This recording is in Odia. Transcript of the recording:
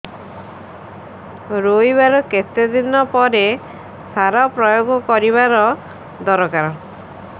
ରୋଈବା ର କେତେ ଦିନ ପରେ ସାର ପ୍ରୋୟାଗ କରିବା ଦରକାର